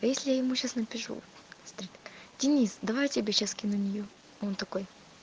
а если я ему сейчас напишу денис давай я тебе сейчас скину нью он такой